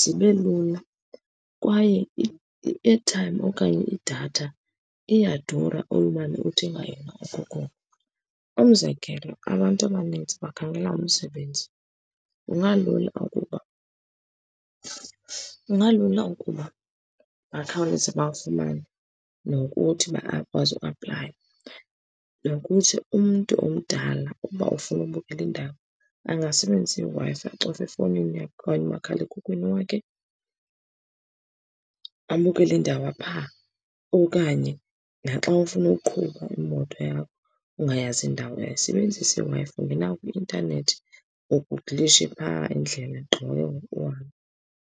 zibe lula, kwaye i-airtime okanye idatha iyadura, olumane uthenga yona okokoko. Umzekelo, abantu abaninzi bakhangela umsebenzi. Kungalula ukuba, kungalula ukuba bakhawuleza bawufumane, nokuthi bakwazi uapplaya. Nokuthi umntu omdala uba ufuna ubukela indaba, angasebenzisi iWi-Fi, acofe efowunini yakhe okanye umakhala emkhukwini wakhe, abukele indaba pha. Okanye naxa ufuna ukuqhuba imoto yakho ungayazi indawo, ungayisebenzise i-Wi-Fi, ungena kwi-intanethi, ugugulishe pha indleleni ugqiba ke ngoku uhambe.